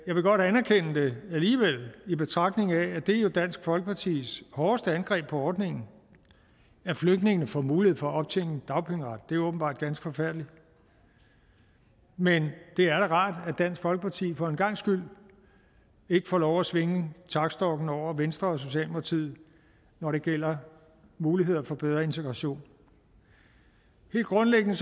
jeg vil godt anerkende det alligevel i betragtning af at det jo er dansk folkepartis hårdeste angreb på ordningen at flygtninge får mulighed for at optjene dagpengeret det er åbenbart ganske forfærdeligt men det er da rart at dansk folkeparti for en gangs skyld ikke får lov at svinge taktstokken over venstre og socialdemokratiet når det gælder muligheder for bedre integration helt grundlæggende